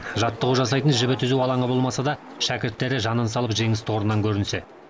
жаттығу жасайтын жібі түзу алаңы болмаса да шәкірттері жанын салып жеңіс тұғырынан көрінсе